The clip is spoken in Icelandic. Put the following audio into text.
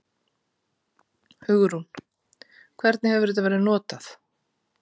Hugrún: Hvernig hefur þetta verið notað?